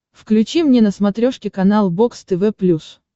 включи мне на смотрешке канал бокс тв плюс